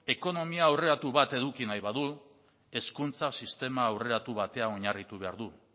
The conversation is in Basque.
ekonomia aurreratu bat eduki nahi badu hezkuntza sistema aurreratu batean oinarritu behar du